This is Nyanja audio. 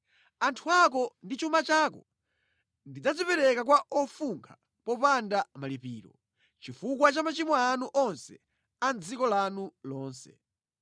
Anthu ako ndi chuma chako ndidzazipereka kwa ofunkha popanda malipiro, chifukwa cha machimo anu onse a mʼdziko lanu lonse.